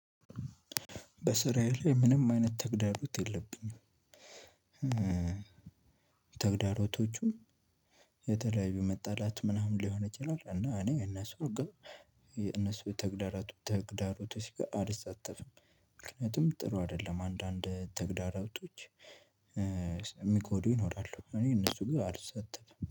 በስራዬ ላይ ምንም አይነት ተግዳሮት የለብኝም። ተግዳሮቶቹም የተለያዩ መጣላት ምናምን ሊሆን ይችላል። እና እኔ እነሱ ግን የነሱ ተግዳራቱ ተግዳሮቶች ጋር አልተሳተፍም። ምክንያቱም ጥሩ አይደለም አንዳንድ ተግዳራቶች የሚጎዱ ይኖራሉ። እኔ እነሱ ጋር አልሳተፍም